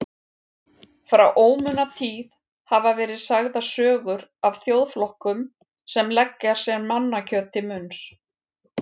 Frá ómunatíð hafa verið sagðar sögur af þjóðflokkum sem leggja sér mannakjöt til munns.